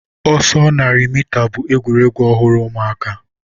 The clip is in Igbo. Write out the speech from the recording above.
ọsọ narị mita bụ egwuregwu ọhụrụ ụmụaka.